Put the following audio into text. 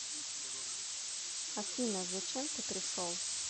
афина зачем ты пришел